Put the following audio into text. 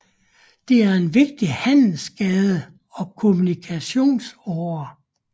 Det er en vigtig handelsgade og kommunikationsåre